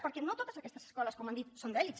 perquè no totes aquestes escoles com han dit són d’elit